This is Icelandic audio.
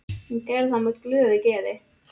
Hún gerði það með glöðu geði.